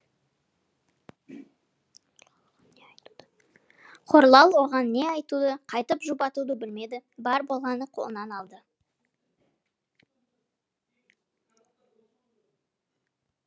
хорлал оған не айтуды қайтіп жұбатуды білмеді бар болғаны қолынан алды